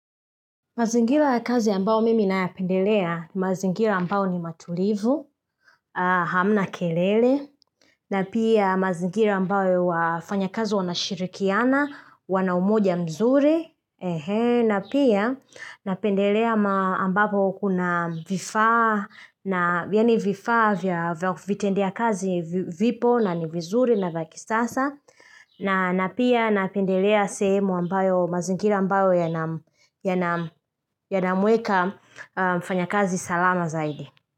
Mazingira ya kazi ambao mimi nayapendelea, mazingira ambao ni matulivu, hamna kelele, na pia mazingira ambayo wafanyakazi wanashirikiana, wana umoja mzuri, na pia napendelea ambapo kuna vifaa, na yaani vifaa vya vitendea kazi vipo na ni vizuri na vya kisasa, na na pia napendelea sehemu ambayo mazingira ambayo yana yanamuweka mfanyakazi salama zaidi.